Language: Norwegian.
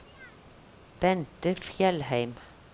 Bente Fjellheim